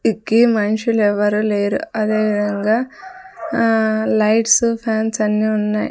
ఇక్కీ మనుషులు ఎవరూ లేరు అదేవిధంగా ఆ లైట్సు ఫ్యాన్స్ అన్నీ ఉన్నాయి.